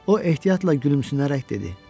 O ehtiyatla gülümsünərək dedi: